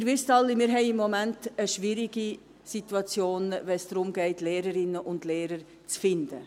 Wie Sie alle wissen, haben wir im Moment eine schwierige Situation, wenn es darum geht, Lehrerinnen und Lehrer zu finden.